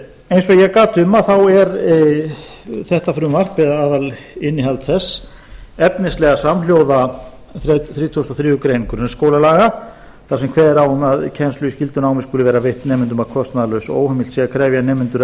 eins og ég gat um er þetta frumvarp eða aðalinnihald þess efnislega samhljóða þrítugasta og þriðju grein grunnskólalaga þar sem kveðið er á um að kennsla í skyldunámi skuli vera veitt nemendum að kostnaðarlausu og óheimilt að krefja nemendur